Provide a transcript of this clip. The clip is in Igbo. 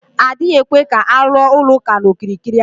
Adịghị ekwe ka aluo ụlọ ụka na okirikiri ahụ